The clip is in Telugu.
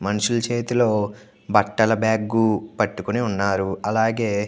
మనుషుల చేతిలో బాటల బగ్గు పాతుకొని ఉన్నారు. అలాగే --